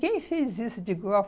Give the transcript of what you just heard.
Quem fez isso de?